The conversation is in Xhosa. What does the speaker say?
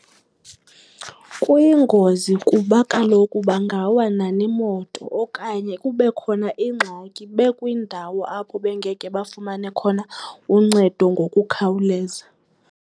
Kuyingozi kuba kaloku bangawa nanemoto okanye kube khona ingxaki bekwindawo apho bengeke bafumane khona uncedo ngokukhawuleza.